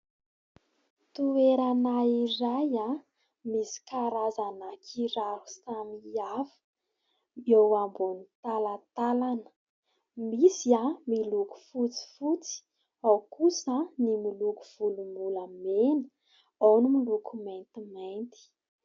Toerana iray, misy karazana kiraro samy hafa eo ambony talantalana. Misy miloko fotsifotsy, ao kosa ny miloko volom-bolamena, ao ny miloko maintimainty.